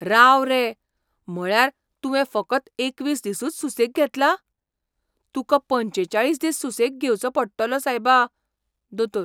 राव रे! म्हळ्यार तुवें फकत एकवीस दिसूच सुसेग घेतला? तुका पंचेचाळीस दिस सुसेग घेवचो पडटलो, सायबा. दोतोर